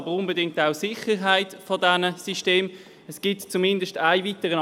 Der Verpflichtungskredit ist mit folgender Auflage zu ergänzen: